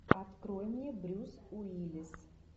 открой мне брюс уиллис